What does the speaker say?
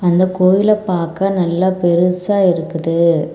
அந்தக் கோயில பாக்க நல்லா பெருசா இருக்குது.